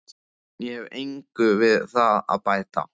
Ég hef engu við það að bæta.